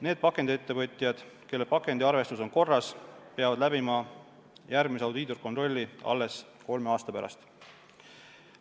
Need pakendiettevõtjad, kelle pakendiarvestus on korras, peavad läbima järgmise audiitorkontrolli alles kolme aasta pärast.